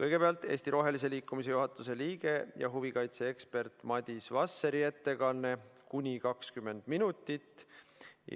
Kõigepealt on Eesti Rohelise Liikumise juhatuse liikme ja huvikaitse eksperdi Madis Vasseri ettekanne, kuni 20 minutit,